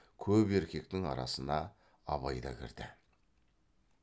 көп еркектің арасына абай да кірді